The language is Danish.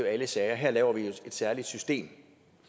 alle sager her laver vi et særligt system